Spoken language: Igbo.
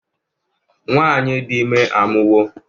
nwanyi di ime amuwo